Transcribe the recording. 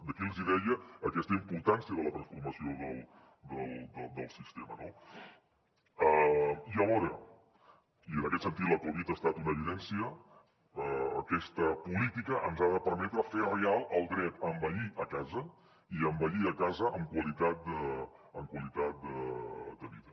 d’aquí els hi deia aquesta importància de la transformació del sistema no i alhora i en aquest sentit la covid ha estat una evidència aquesta política ens ha de permetre fer real el dret a envellir a casa i envellir a casa amb qualitat de vida